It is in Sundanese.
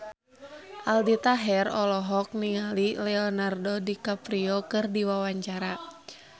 Aldi Taher olohok ningali Leonardo DiCaprio keur diwawancara